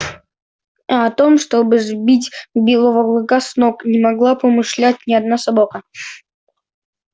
а о том чтобы сбить белого клыка с ног не могла помышлять ни одна собака